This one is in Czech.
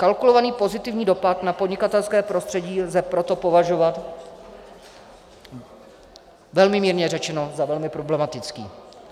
Kalkulovaný pozitivní dopad na podnikatelské prostředí lze proto považovat velmi mírně řečeno za velmi problematický.